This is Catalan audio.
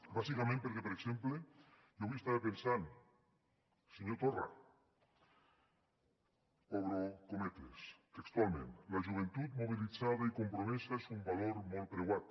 bàsicament perquè per exemple jo avui estava pensant senyor torra obro cometes textualment la joventut mobilitzada i compromesa és un valor molt preuat